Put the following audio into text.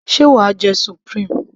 sé wàá jẹ supreme?